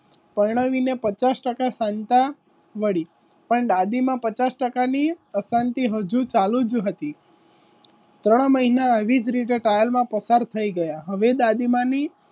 પરણાવીને પચાસ ટકા સાંતા મડી પણ દાદીમા ને પચાસ ટકા ની અ શાંતિ ચાલુજ હતી ત્રણ મહિના આવીજ રીતે કાયલમાં પસાર થઈ ગયા હવે દાદી માં ની,